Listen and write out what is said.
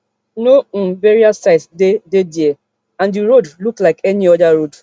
no um burial site dey dey dia and di road look like any oda road